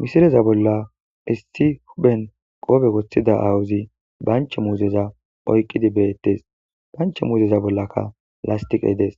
misileza bolla issi huphen qobe woththida aawuzi banche muuzeza oyqqidi bettes banche muuzeza bollakka lastiqey dees